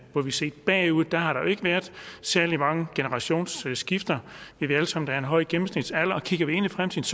set bagud har der jo ikke været særlig mange generationsskifter vi ved alle sammen er en høj gennemsnitsalder og kigger vi ind i fremtiden